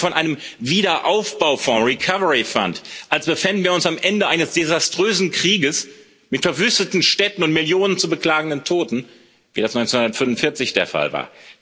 Sie sprechen von einem Wiederaufbaufonds Recovery Fund als befänden wir uns am Ende eines desaströsen Krieges mit verwüsteten Städten und Millionen zu beklagenden Toten, wie das 1945 der Fall war.